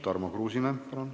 Tarmo Kruusimäe, palun!